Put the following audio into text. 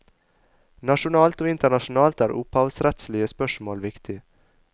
Nasjonalt og internasjonalt er opphavsrettslige spørsmål viktig.